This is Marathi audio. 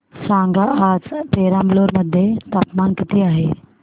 सांगा आज पेराम्बलुर मध्ये तापमान किती आहे